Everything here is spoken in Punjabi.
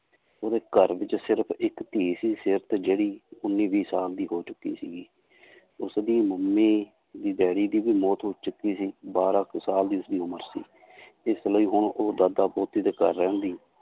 ਉਹਦੇੇ ਘਰ ਵਿੱਚ ਸਿਰਫ਼ ਇੱਕ ਧੀ ਸੀ, ਸੀਰਤ ਜਿਹੜੀ ਉੱਨੀ ਵੀਹ ਸਾਲ ਦੀ ਹੋ ਚੁੱਕੀ ਸੀਗੀ ਉਸਦੀ ਮੰਮੀ ਤੇ ਡੈਡੀ ਦੀ ਵੀ ਮੌਤ ਹੋ ਚੁੱਕੀ ਸੀ ਬਾਰਾਂ ਕੁ ਸਾਲ ਦੀ ਉਸਦੀ ਉਮਰ ਸੀ ਇਸ ਲਈ ਹੁਣ ਉਹ ਦਾਦਾ ਪੋਤੀ ਦੇ ਘਰ ਰਹਿੰਦੀ l